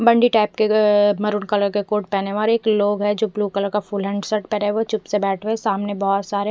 मंडी type के अ maroon colour का कोर्ट पेना हुआ और एक लोग है जो ब्लू कलर का फुल हैण्ड शर्ट पेरे हुए चुप से बेठे हुए सामने बोहोत सारे--